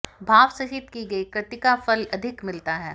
भावसहित की गई कृतिका फल अधिक मिलता है